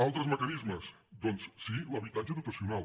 altres mecanismes doncs sí l’habitatge dotacional